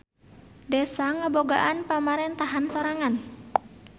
Desa ngabogaan pamarentahan sorangan.